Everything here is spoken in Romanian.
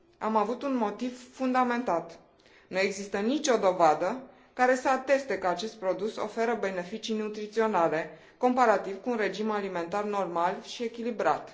Am avut un motiv fundamentat nu există nicio dovadă care să ateste că acest produs oferă beneficii nutriționale, comparativ cu un regim alimentar normal și echilibrat.